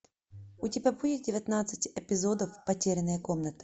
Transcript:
у тебя будет девятнадцать эпизодов потерянная комната